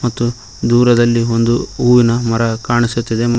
ಮತ್ತು ದೂರದಲ್ಲಿ ಒಂದು ಹೂವಿನ ಮರ ಕಾಣಿಸುತ್ತಿದೆ.